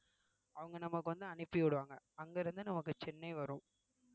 அவங்க நமக்கு வந்து அனுப்பி விடுவாங்க அங்க இருந்து நமக்கு சென்னை வரும்